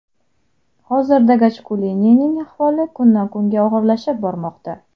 Hozirda Gajkulining ahvoli kundan kunga og‘irlashib bormoqda.